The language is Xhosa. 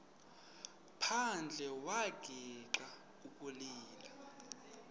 phandle wagixa ukulila